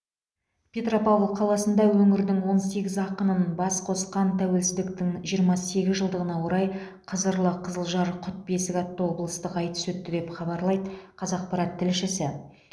петропавл қаласында өңірдің он сегіз ақынын бас қосқан тәуелсіздіктің жиырма сегіз жылдығына орай қызырлы қызылжар құт бесік атты облыстық айтыс өтті деп хабарлайды қазақпарат тілшісі